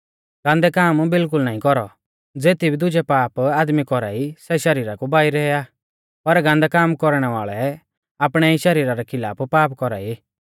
गान्दै काम बिल्कुल नाईं कौरौ ज़ेती भी दुजै पाप आदमी कौरा ई सै शरीरा कु बाहरै आ पर गान्दै काम कौरणै वाल़ै आपणै ई शरीरा रै खिलाफ पाप कौरा ई